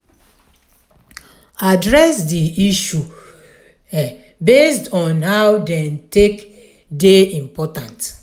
address di issue based on how dem take dey important